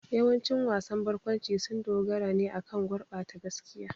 Yawancin wasan barkwanci sun dogara ne akan gurbata gaskiya.